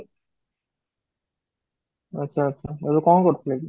ଆଚ୍ଛା, ଆଚ୍ଛା ଏବେ କଣ କରୁଥିଲେ କି?